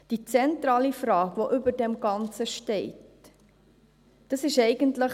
Die zentrale Frage, die über dem Ganzen steht, ist eigentlich: